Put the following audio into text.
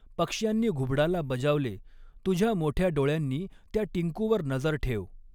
पक्ष्यांनी घुबडाला बजावले, तुझ्या मॊठ्या डॊळ्यांनी त्या टिंकूवर नजर ठेव.